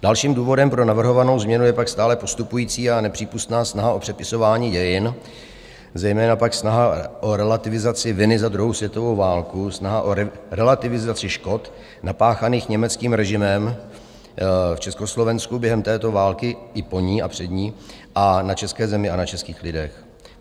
Dalším důvodem pro navrhovanou změnu je pak stále postupující a nepřípustná snaha o přepisování dějin, zejména pak snaha o relativizaci viny za druhou světovou válku, snaha o relativizaci škod napáchaných německým režimem v Československu během této války i po ní a před ní a na české zemi a na českých lidech.